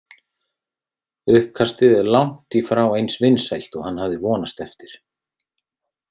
Uppkastið er langt í frá eins vinsælt og hann hafði vonast eftir.